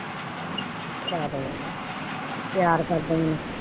ਚਲੋ ਕੋਈ ਨੀ ਚਲੋ ਪਿਆਰ ਕਰਦਾ।